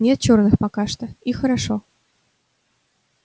нет чёрных пока что и хорошо